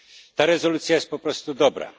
Ta rezolucja jest po prostu dobra.